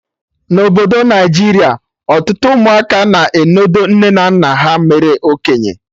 Na Obodo Naijiria, ọtụtụ ụmụaka na-enodo nne na nna ha mere okenye